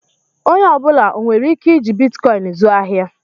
Onye ọ bụla onwere ike iji Bitikoin zụọ ahịa?